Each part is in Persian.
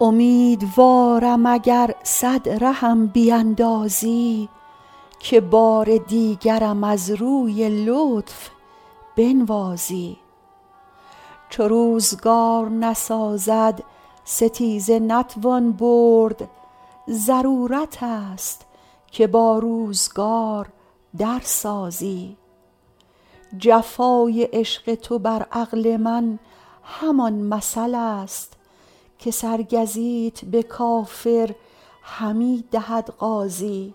امیدوارم اگر صد رهم بیندازی که بار دیگرم از روی لطف بنوازی چو روزگار نسازد ستیزه نتوان برد ضرورت است که با روزگار در سازی جفای عشق تو بر عقل من همان مثل است که سرگزیت به کافر همی دهد غازی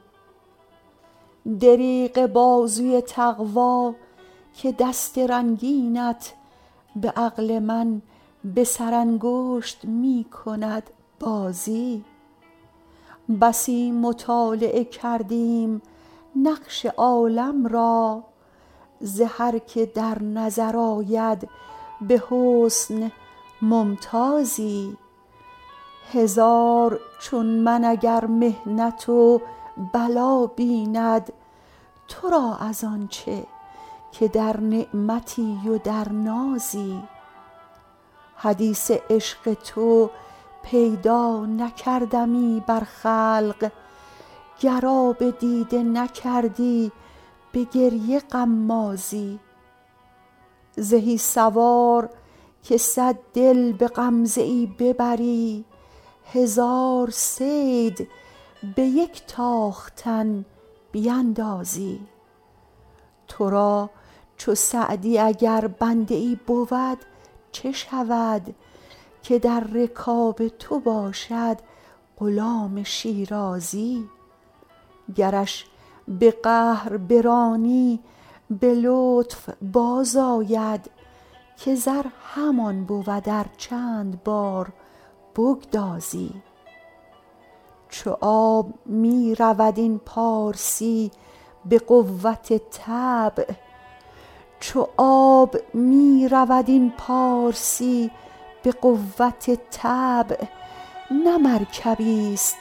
دریغ بازوی تقوا که دست رنگینت به عقل من به سرانگشت می کند بازی بسی مطالعه کردیم نقش عالم را ز هر که در نظر آید به حسن ممتازی هزار چون من اگر محنت و بلا بیند تو را از آن چه که در نعمتی و در نازی حدیث عشق تو پیدا نکردمی بر خلق گر آب دیده نکردی به گریه غمازی زهی سوار که صد دل به غمزه ای ببری هزار صید به یک تاختن بیندازی تو را چو سعدی اگر بنده ای بود چه شود که در رکاب تو باشد غلام شیرازی گرش به قهر برانی به لطف بازآید که زر همان بود ار چند بار بگدازی چو آب می رود این پارسی به قوت طبع نه مرکبیست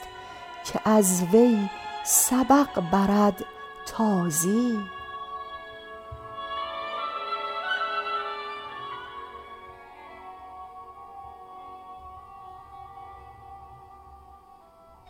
که از وی سبق برد تازی